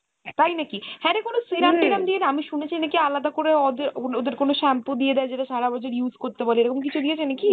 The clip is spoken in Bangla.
তাই নাকি ? হ্যাঁ রে কোনো serum টিরাম দিয়ে দেয় আমি শুনেছি নাকি আলাদা করে অদে~ওদের কোনো shampoo দিয়ে দেয় যেটা সারাবছর use করতে বলে এরকম কিছু দিয়েছে নাকি?